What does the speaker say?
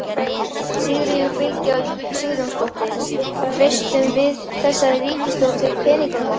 Sigríður Bylgja Sigurjónsdóttir: Treystum við þessari ríkisstjórn fyrir peningunum okkar?